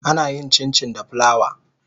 Ana yin Cincin da plawa.